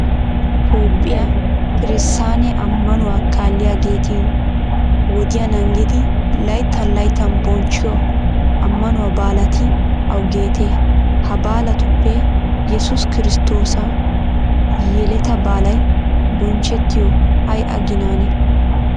Toophphiya kirsaane ammanuwa kaalliyageeti wodiya naagidi layttan layttan bonchchiyo ammanuwa baalati awugeetee? Ha baalatuppe yesuus kiristtoosa yeletaa baalay bonchchettiyoy ay aginaanee?